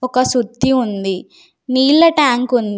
ఒక సుత్తి ఉంది. నీళ్ళ ట్యాంక్ ఉంది.